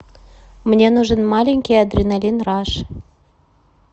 мне нужен маленький адреналин раш